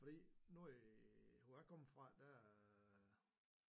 Fordi nu i hvor jeg kommer fra der